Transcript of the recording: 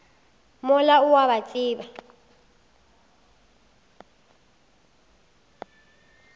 mola o a ba tseba